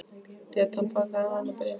Lét hann þig fá annað bréf?